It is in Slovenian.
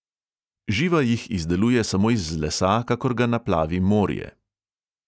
Živa jih izdeluje samo iz lesa, kakor ga naplavi morje.